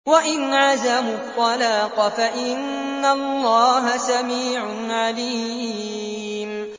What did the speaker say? وَإِنْ عَزَمُوا الطَّلَاقَ فَإِنَّ اللَّهَ سَمِيعٌ عَلِيمٌ